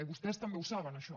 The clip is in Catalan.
i vostès també ho saben això